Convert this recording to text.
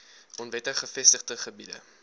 onwettig gevestigde gebiede